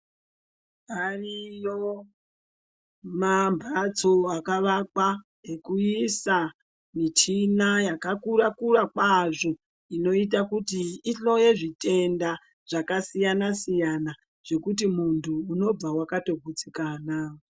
Ariyo mambatso akavakwa ekuisa michina yakakura kura kwazvo inoita kuti ihloye zvitenda zvakasiyana siyana zvokuti muntu ubve wakatogutsikana.